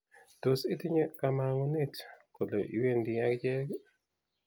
tos itinye kamang'ut kole iwendi ak akichek